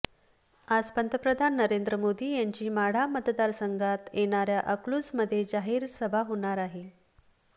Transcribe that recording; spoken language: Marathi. आज पंतप्रधान नरेंद्र मोदी यांची माढा मतदारसंघात येणाऱ्या अकलूजमध्ये जाहीर सभा होणार आहे